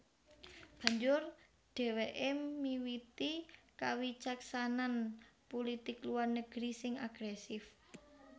Banjur dhèwèké miwiti kawicaksanan pulitik luar negeri sing agrèsif